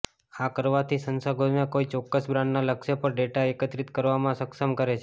આ કરવાથી સંશોધકોને કોઈ ચોક્કસ બ્રાન્ડના લક્ષ્ય પર ડેટા એકત્રિત કરવામાં સક્ષમ કરે છે